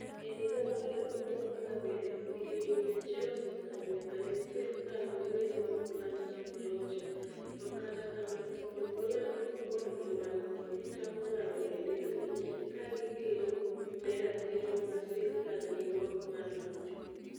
E higa mar 2017, higni 100 osekalo nyaka ne sirkal manyien mar Poland chak locho, to kata kamano, Jo - Poland ok mor gi mano to gichako ng'anyo e nderni ka gikedo ne ratiro ma sirkal nigo mar locho.